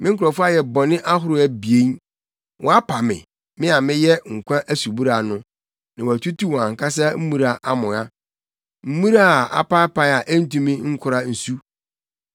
“Me nkurɔfo ayɛ bɔne ahorow abien: Wɔapa me, me a meyɛ nkwa asubura no, na wɔatutu wɔn ankasa mmura amoa, mmura a apaapae a entumi nkora nsu.